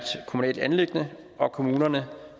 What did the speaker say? kommunalt anliggende og kommunerne